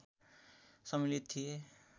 सम्मिलित थिए